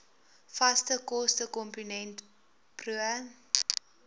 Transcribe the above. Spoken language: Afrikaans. vaste kostekomponent pro